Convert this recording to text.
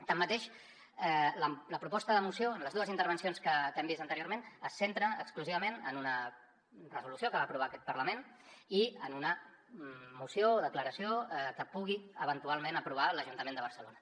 tanmateix la proposta de moció en les dues intervencions que hem vist anteriorment es centra exclusivament en una resolució que va aprovar aquest parlament i en una moció o declaració que pugui eventualment aprovar l’ajuntament de barcelona